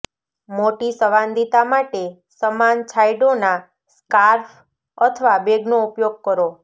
મોટી સંવાદિતા માટે સમાન છાંયડોના સ્કાર્ફ અથવા બેગનો ઉપયોગ કરો